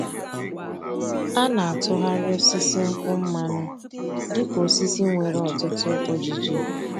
A na-atụgharị osisi nkwụ mmanụ dị ka osisi nwere ọtụtụ ojiji.